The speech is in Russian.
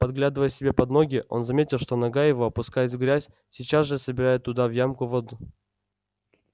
поглядывая себе под ноги он заметил что нога его опускаясь в грязь сейчас же собирает туда в ямку воду